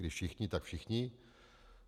Když všichni, tak všichni.